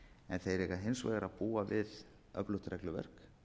en þeir eiga hins vegar að búa við öflugt regluverk